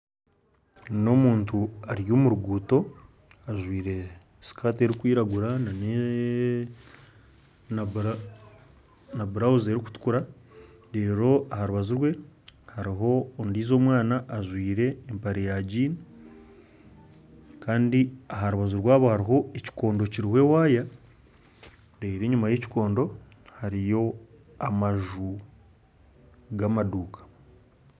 Ni omuntu ari omuruguto ajwaire sikati erikwiragura na burawuzi erikutukura aha rubaju rwe hariho ondijo omwana ajwaire empare ya jini Kandi aha rubaju rwabo hariho ekikondo kiriho ewaya enyuma ya ekikondo hariyo amaju ga amaduka.